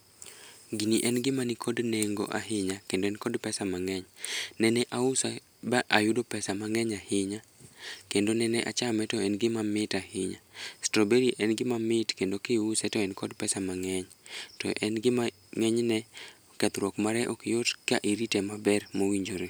Gini en gima nikod nengo ahinya kendo en kod pesa mangeny. Nenenause mayudo pesa mangeny ahinya kendo ne achame to en gima mit ahinya. Strawberry en gima mit kendo kiuse to en kod pesa mangeny, to en gima ngenyne kethruok mare ok yot ka irite maber mowinjore.